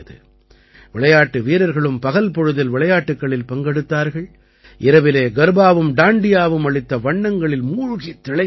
விளையாட்டு வீரர்களும் பகல் பொழுதில் விளையாட்டுக்களில் பங்கெடுத்தார்கள் இரவிலே கர்பாவும் டாண்டியாவும் அளித்த வண்ணங்களில் மூழ்கித் திளைத்தார்கள்